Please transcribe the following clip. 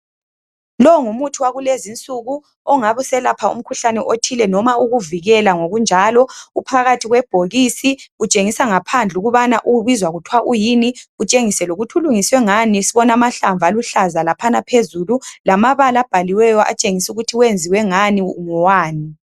Longumuthi wakulezi nsuku ongabu selapha umkhuhlane othile noma ukuvikela ngokunjalo uphakathi kwebhokisi . Utshengisa ngaphandle ukubana ubizwa kuthiwa uyini . Utshengise lokuthi ulungiswe ngani sibona mahlamvu aluhlaza laphana phezulu lamabala bhaliweyo atshengisu kuthi wenziwe ngani ngowani.